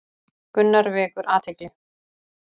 Gunnar vekur athygli